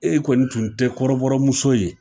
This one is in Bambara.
E kɔni tun tɛ kɔrɔbɔmuso ye!